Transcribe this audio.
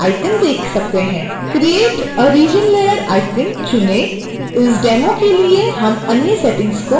create a region layer icon चुनें इस demo के लिए हम अन्य सेटिंग्स को वैसा ही छोड़ देंगे